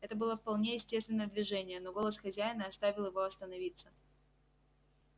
это было вполне естественное движение но голос хозяина оставил его остановиться